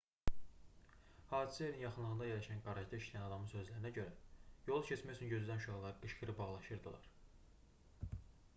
hadisə yerinin yaxınlığında yerləşən qarajda işləyən adamın sözlərinə görə yolu keçmək üçün gözləyən uşaqlar qışqırıb ağlaşırdılar